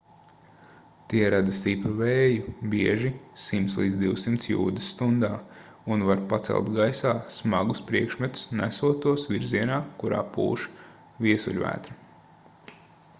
tie rada stipru vēju bieži 100-200 jūdzes stundā un var pacelt gaisā smagus priekšmetus nesot tos virzienā kurā pūš viesuļvētra